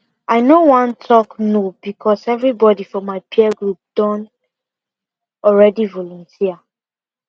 i no wan talk no because everybody for my peer group don already volunteer